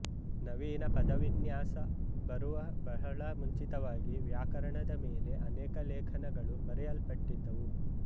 ನವೀನ ಪದವಿನ್ಯಾಸ ಬರುವ ಬಹಳ ಮುಂಚಿತವಾಗಿ ವ್ಯಾಕರಣದ ಮೆಲೆ ಅನೇಕ ಲೇಖನಗಳು ಬರೆಯಲ್ಪಟ್ಟಿದ್ದವು